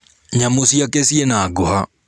Nyamũ ciake ciĩna ngũha.